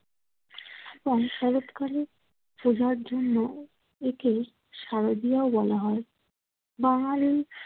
শরৎকালে পূজার জন্য একে শারদীয়াও বলা হয়। বাঙালি